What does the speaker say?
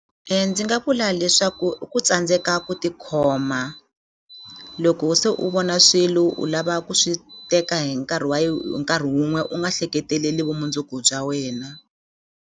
Ndzi nga vula leswaku i ku tsandzeka ku tikhoma loko se u vona swilo u lava ku swi teka hi nkarhi wa hi nkarhi wun'we u nga hleketeleli vumundzuku bya wena.